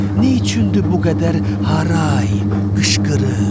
Neyçündür bu qədər haray qışqırıq?